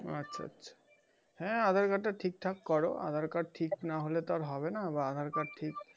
আচ্ছা আচ্ছা। হ্যাঁ আধার-কার্ডটা ঠিক-ঠাক কর আধার-কার্ড ঠিক না হলে তো আর হবে না। বা আধার-কার্ড ঠিক,